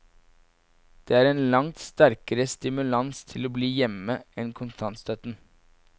Det er en langt sterkere stimulans til å bli hjemme enn kontantstøtten.